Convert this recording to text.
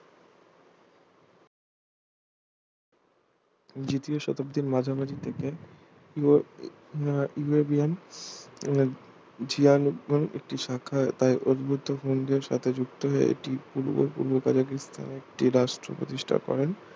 দ্বিতীয় শতাব্দীর মাঝামাঝি থেকে ~ আহ ইউরেশিয়ান মানে ঝিয়াং বলে একটি শাখা উদ্বুদ্ধ হূনদের সাথে যুক্ত হয়ে একটি পূর্ব পূর্ব কাজাকিস্তান একটি রাষ্ট্র প্রতিষ্ঠা করেন